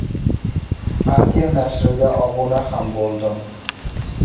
Partiya nashriga obuna ham bo‘ldim.